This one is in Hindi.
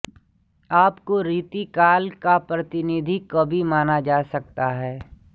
आपको रीतिकाल का प्रतिनिधि कवि माना जा सकता है